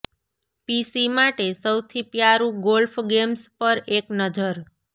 પીસી માટે સૌથી પ્યારું ગોલ્ફ ગેમ્સ પર એક નજર